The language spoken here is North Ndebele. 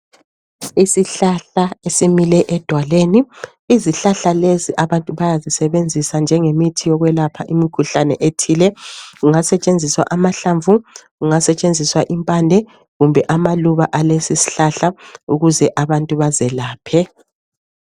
Isihlahla esimile edwaleni. Izihlahla lezi abantu bayazisebenzisa njengemithi yokwelapha imikhuhlane ethile. Kungasetshenziswa amahlamvu, kungasetshenziswa impande kumbe amaluba ales' isihlahla ukuze abantu bazelaphe.